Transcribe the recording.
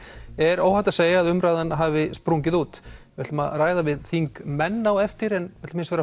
er óhætt að segja að umræðan hafi sprungið út við ætlum að ræða við þingmenn á eftir en